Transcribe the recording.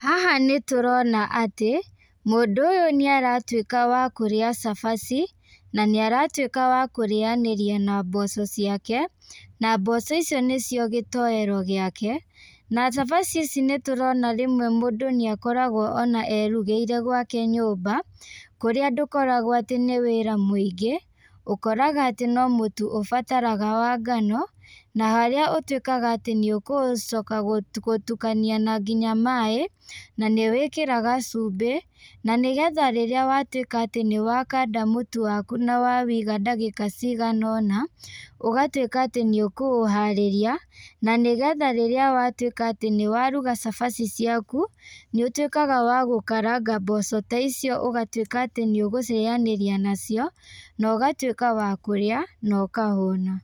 Haha nĩ tũrona ati mũndu ũyu nĩ aratuĩka wa kurĩa cabaci na nĩ aratuĩka wa kũriayanĩria na mboco ciake. Na mboco icio nĩcio gĩtoero gĩake, na cabaci ici nĩtũrona rĩmwe mũndũ nĩ akoragwo ona erugĩire gwake nyũmba kũrĩa ndũkoragwo atĩ nĩ wĩra mũingĩ. Ũkoraga atĩ no mũtu ũbataraga wa ngano na harĩa ũtuĩkaga atĩ nĩ ũkũcoka gũtukania na nginya maaĩ na nĩ wĩkĩraga cumbĩ. Na nĩ getha rĩrĩa watuĩka atĩ nĩ wakanda mũtu waku na wawiga ndagĩka cigana ũna. Ũgatuĩka atĩ nĩ ũkũũharĩria, na nĩ getha atĩ rĩrĩa watuĩka nĩ waruga cabaci ciaku nĩ ũtuĩkaga wa gũkaranga mboco ta icio ũgatuĩka atĩ nĩ ũgũcirĩanĩria nacio na ũgatuĩka wa kũrĩa na ũkahũna.